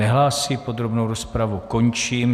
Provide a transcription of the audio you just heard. Nehlásí, podrobnou rozpravu končím.